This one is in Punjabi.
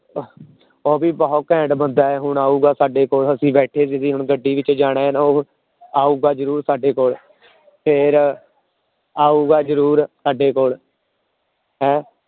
ਉਹ ਵੀ ਬਹੁਤ ਘੈਂਟ ਬੰਦਾ ਹੈ ਹੁਣ ਆਊਗਾ ਸਾਡੇ ਕੋਲ ਅਸੀਂ ਬੈਠੇ ਸੀਗੇ, ਹੁਣ ਗੱਡੀ ਵਿੱਚ ਜਾਣਾ ਹੈ ਨਾ ਉਹ ਆਊਗਾ ਜ਼ਰੂਰ ਸਾਡੇ ਕੋਲ ਫਿਰ ਆਊਗਾ ਜ਼ਰੂਰ ਸਾਡੇ ਕੋਲ ਹੈਂ,